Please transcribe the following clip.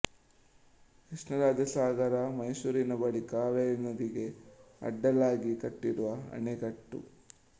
ಕೃಷ್ಣರಾಜಸಾಗರ ಮೈಸೂರಿನ ಬಳಿ ಕಾವೇರಿ ನದಿಗೆ ಅಡ್ಡಲಾಗಿ ಕಟ್ಟಿರುವ ಅಣೆಕಟ್ಟು